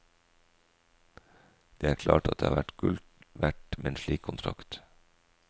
Det er klart at det har vært gull verdt med en slik kontrakt.